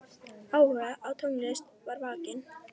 Áhugi á tónlist var vakinn.